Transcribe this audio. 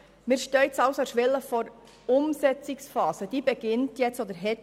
Wir stehen also an der Schwelle zur Umsetzungsphase, die bereits begonnen hat.